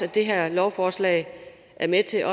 her lovforslag er med til